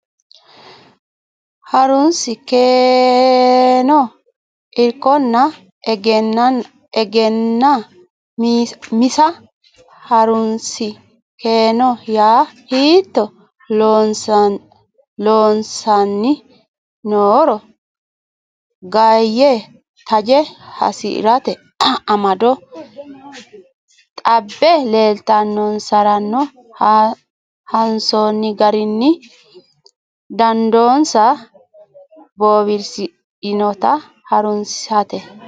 Ha runsi keeno Irkonna Egennaa misa Ha runsi keeno yaa hiitto loossanni nooro ganye taje hasi rate amado xabbe leeltinonsaronna hansoonni garinni dandoonsa bowirsidhinota ha runsate.